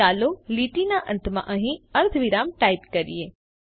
ચાલો લીટીના અંતમાં અહીં અર્ધવિરામ ટાઈપ કરીએ